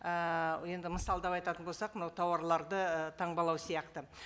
ыыы енді мысалдап айтатын болсақ мынау тауарларды таңбалау сияқты